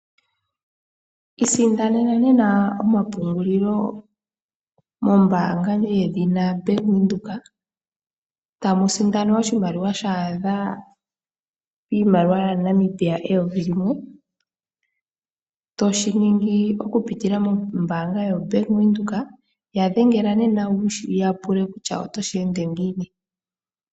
Isindanena nena omapungulilo mombaanga yedhina Bank Windhoek ,tamu sindanwa oshimaliwa sha adha piimaliwa ya Namibia eyovi limwe toshiningi oku pitila mombaanga yo Bank Windhoek. Ya dhengela nena wuyapule kutya oto shi ende ngiini.